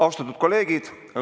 Austatud kolleegid!